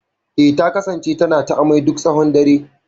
Eh, ta kasance tana ta amai duk tshawon dare.